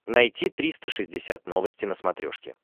найти триста шестьдесят новости на смотрешке